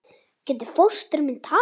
Getur fóstri minn tapað?